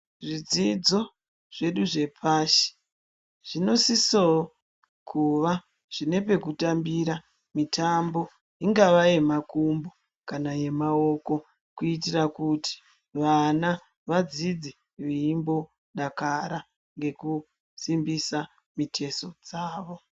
Zvidzidzo zvedu zvepashi zvinosisewo kuva zvinepekutambira mitambo ingave yemaoko kana makumbo kuitira kuti vana vadzidze veimbodakara ngekusimbise mitezo dzavo.